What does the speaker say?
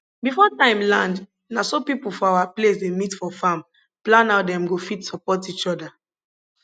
before time land na so people for our place dey meet for farm plan how dem go fit support each other